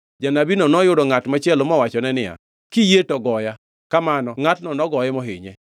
Janabino noyudo ngʼat machielo mowachone niya, “Kiyie to goya.” Kamano ngʼatno nogoye mohinye.